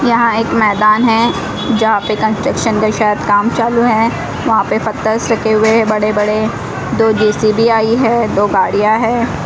यहाँ एक मैदान हैं जहाँ पे कंस्ट्रक्शन का शायद काम चालू हैं। वहां पर पत्थरस रखें हुए हैं। बड़े-बड़े दो जे_सी_बी आयी हैं दो गाड़ियाँ हैं।